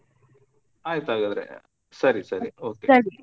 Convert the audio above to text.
ಆಯ್ತು ಹಾಗಾದ್ರೆ ಸರಿ ಸರಿ okay .